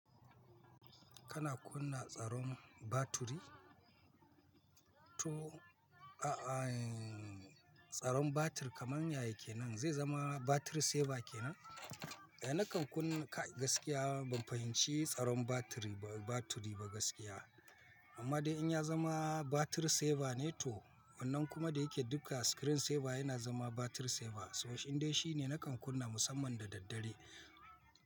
Kana kunna tsaron baturi? To, a'a, tsaron batir kamar yayi kenan. Zai zama batir saver kenan? Eh nakan kunna kai gaskiya ban fahimci tsaron batiri batiri ba gaskiya. Amma dai in ya zama batir saver ne to wannan kuma da yake duka screen saver yana zama batir saver. So indai shi ne nakan kunna musamman da daddare.